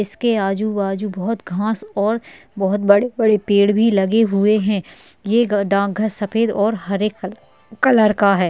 इसके आजूबाजू बहुत घास और बहुत बड़े बड़े पेड़ भी लगे हुए है ये डाकघर सफ़ेद और हरे कल कलर का है।